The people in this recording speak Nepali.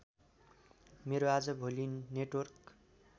मेरो आजभोलि नेटवर्क